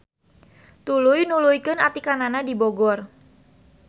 Tuluy nuluykeun atikanana di Bogor.